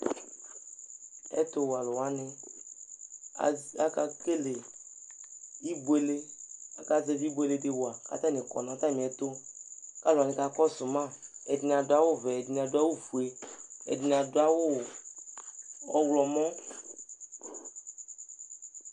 ɛtu wɛ alu wʋani az, aka kele ibuele aka zɛvi ibuele di wa kata ni kɔ nu ata miɛtu, ɛdini adu awu vɛ, ɛdini adu awu fue, ɛdini adu awu ɔwlɔmɔ